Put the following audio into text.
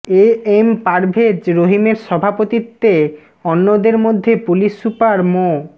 এ M Parvez রহিমের সভাপতিত্বে অন্যদের মধ্যে পুলিশ সুপার মো